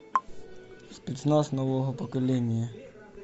спецназ нового поколения